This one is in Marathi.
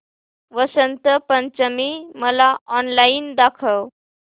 वसंत पंचमी मला ऑनलाइन दाखव